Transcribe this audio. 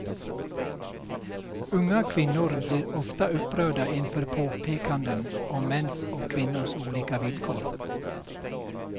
Unga kvinnor blir ofta upprörda inför påpekanden om mäns och kvinnors olika villkor.